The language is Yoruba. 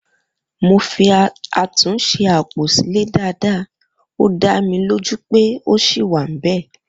mo fi àtúnṣe apo ile Dàda ọ da mí lo ju pẹ ọ yin wa bẹ